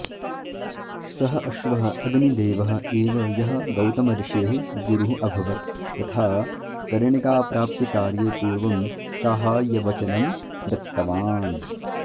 सः अश्वः अग्निदेवः एव यः गौतमऋषेः गुरुः अभवत् तथा कर्णिकाप्राप्तिकार्ये पूर्वं साहाय्यवचनं दत्तवान्